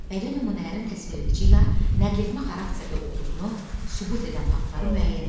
Bədii nümunələrin təsviredici ya nəqletmə xarakterli olduğunu sübut edən faktları müəyyən et.